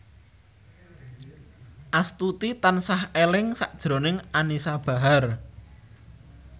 Astuti tansah eling sakjroning Anisa Bahar